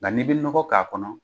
Nga n'i bɛ nɔgɔ k'a kɔnɔ.